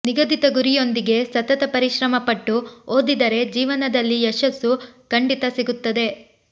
ನಿಗದಿತ ಗುರಿಯೊಂದಿಗೆ ಸತತ ಪರಿಶ್ರಮಪಟ್ಟು ಓದಿದರೆ ಜೀವನದಲ್ಲಿ ಯಶಸ್ಸು ಖಂಡಿತ ಸಿಗುತ್ತದೆ